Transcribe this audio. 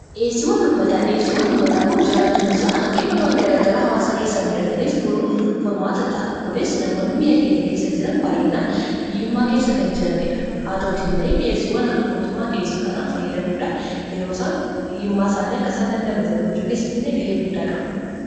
Dhiyeessiwwan ummataa kun jiraachuun isaa hanqinawwan garaa garaa hawwaasa keessatti mudatan furuuf furmaata ta'a. Kunis, namoonni biyya keenya keessa jiran baay'inaan hiyyummaa keessa kan jiraniidha. Haa ta'u malee dhiyeessiiwwaan mootummaan dhiyeessu kana fayyadamuun hiyyummaa isaanii irraa damdamachuu keessatti gahee guddaa qaba.